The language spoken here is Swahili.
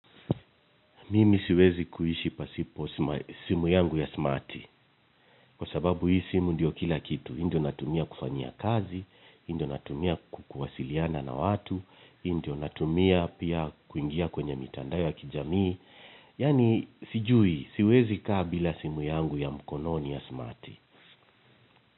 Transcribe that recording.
Mimi siwezi kuishi pasipo simu yangu ya smarti, kwa sababu hii simu ndio kila kitu. Hii ndio natumia kufanyia kazi, hii ndio natumia kuwasiliana na watu, hii ndio natumia kuingia kwenye mitandao ya kijamii, yaani sijui, siwezi kaa bila simu yangu ya mkononi ya smarti.